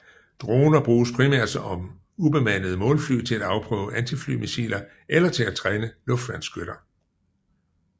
Droner bruges primært om ubemandede målfly til at afprøve antiflymissiler eller til at træne luftværnsskytter